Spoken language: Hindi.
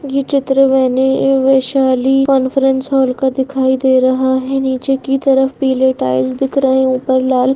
ये चित्र वेणी वैशाली कॉन्फरेंस हॉल का दिखाई दे रहा है नीचे की तरफ पीले टाइल्स दिख रहे है ऊपर लाल --